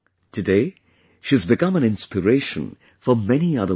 Today she has become an inspiration for many other women